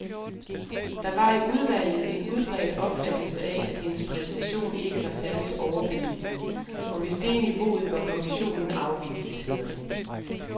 Der var i udvalget en udbredt opfattelse af, at hendes præstation ikke var særligt overbevisende, og hvis det er niveauet, bør kommissionen afvises, hedder det.